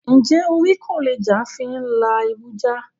Njẹ́ orí kò lè jà fí n lá ibu jà?